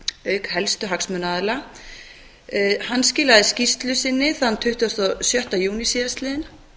auk helstu hagsmunaaðila skilaði skýrslu sinni þann tuttugasta og sjötta júní síðastliðinn